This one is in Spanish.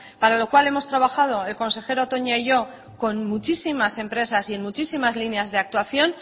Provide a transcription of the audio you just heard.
para lo cual hemos trabajado el consejero toña y yo con muchísimas empresas y en muchísimas líneas de actuación